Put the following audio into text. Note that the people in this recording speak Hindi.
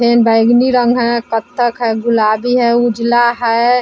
बैंगनी रंग है कथ्थक है गुलाबी है उजला है।